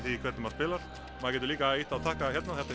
því hvernig maður spilar maður getur líka ýtt á takka hérna þetta